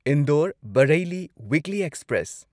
Indore Bareilly weekly express